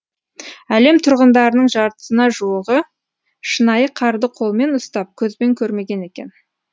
әлем тұрғындарының жартысына жуығы шынайы қарды қолмен ұстап көзбен көрмеген екен